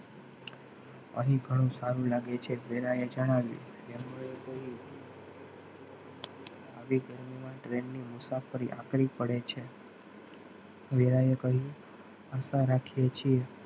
અહીં ઘણું સારું લાગે છે વેલાએ જણાવ્યું એમનું એક આવી train ની મુસાફરી આખરી પડે છે વહેલા એ કહ્યું આશા રાખીએ છીએ.